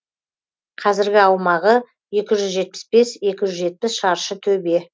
қазіргі аумағы екі жүз жетпіс екі жүз жетпіс шаршы төбе